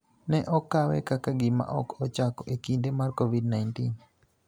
ne okawe kaka gima ok ochako e kinde mar Covid-19.